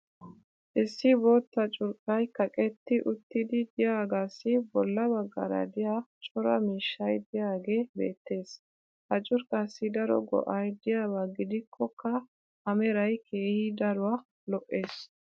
issi bootta curqqay kaqetti uttidi diyaagaassi bola bagaara diya cora miishshay diyaagee beetees. ha curqaassi daro go'ay diyaaba gidikkokka a meray keehi daruwa lo'ees.